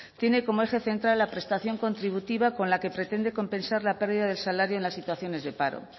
tiene como eje central la prestación contributiva con la que pretende compensar la pérdida del salario en las situaciones de paro